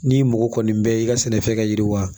N'i mɔgɔ kɔni bɛɛ ye i ka sɛnɛfɛn ka yiriwa